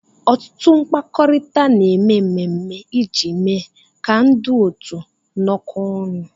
Ọtụtụ mkpakọrịta na-eme mmemme iji mee ka ndị otu nọọ kọ ọnụ